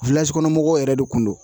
kɔnɔmɔgɔw yɛrɛ de kun don